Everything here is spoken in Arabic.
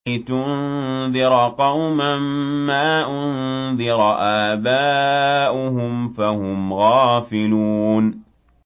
لِتُنذِرَ قَوْمًا مَّا أُنذِرَ آبَاؤُهُمْ فَهُمْ غَافِلُونَ